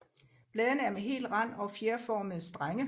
Bladene er hele med hel rand og fjerformede strenge